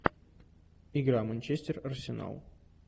игра манчестер арсенал